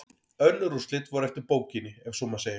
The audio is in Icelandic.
Önnur úrslit voru eftir bókinni ef svo má segja.